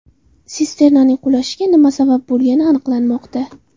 Sisternaning qulashiga nima sabab bo‘lgani aniqlanmoqda.